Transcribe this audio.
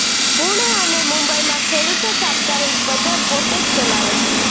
પુણે અને મુંબઈમાં ખેડૂતો સાપ્તાહિક બજાર પોતે જ ચલાવે છે